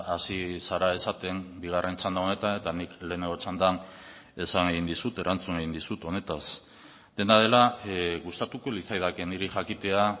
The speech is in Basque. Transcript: hasi zara esaten bigarren txanda honetan eta nik lehenengo txandan esan egin dizut erantzun egin dizut honetaz dena dela gustatuko litzaidake niri jakitea